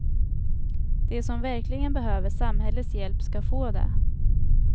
De som verkligen behöver samhällets hjälp ska få det.